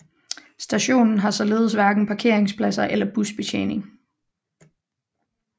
Stationen har således hverken parkeringspladser eller busbetjening